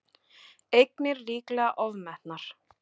Eignir líklega ofmetnar